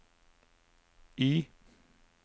Y